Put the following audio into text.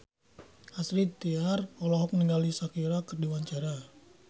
Astrid Tiar olohok ningali Shakira keur diwawancara